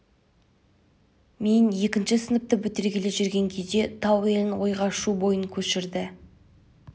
мен екінші сыныпты бітіргелі жүрген кезде тау елін ойға шу бойына көшірді